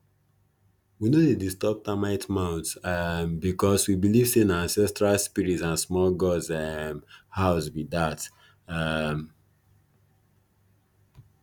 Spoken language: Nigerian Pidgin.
we no dey disturb termite mounds um because we believe say na ancestral spirits and small gods um house be dat um